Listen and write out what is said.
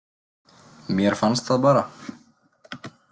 Mér fannst það bara.